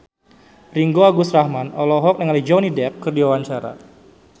Ringgo Agus Rahman olohok ningali Johnny Depp keur diwawancara